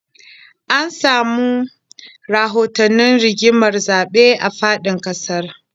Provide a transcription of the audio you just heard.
An samu rahotannin rigimar zaɓe a faɗin ƙasar